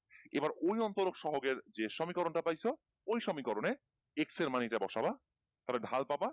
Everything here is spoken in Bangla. এবার ওই অন্তরক সহকের যে সমীকরণ টা পাইছো ওই সমীকরণে X এর মান এইটা বসাবা তাহলে ঢাল পাবা